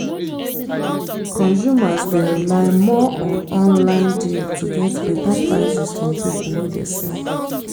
consumers dey rely more on online deal to get better prices from people wey dey sell